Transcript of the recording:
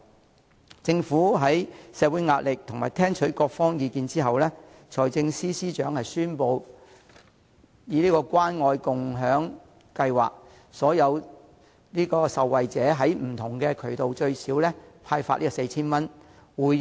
財政司司長在面對社會壓力及聽取各方意見後，為了回應社會訴求，宣布推行關愛共享計劃，讓受惠者透過不同渠道獲派最少 4,000 元。